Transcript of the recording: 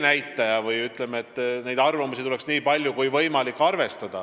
Nende arvamusi tuleks arvestada nii palju kui võimalik.